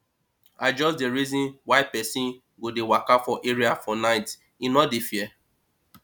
i just dey reason why pesin go dey waka for area for night him no dey fear